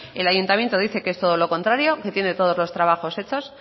el ayuntamiento dice que es todo lo contrario que tiene todos los trabajos hechos